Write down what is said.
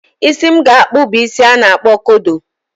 Isi m ga-akpụ bụ isi a na-akpọ kodo